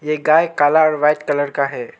यह गए काला और व्हाइट कलर का है।